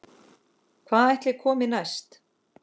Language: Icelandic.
Hvað ætli komi næst?